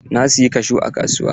Na siyi kashu a kasuwa.